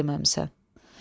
Mənə də deməmisən.